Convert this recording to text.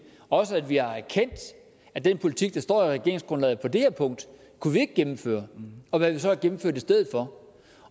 og også at vi har erkendt at den politik der står i regeringsgrundlaget på det her punkt kunne vi ikke gennemføre og hvad vi så har gennemført i stedet for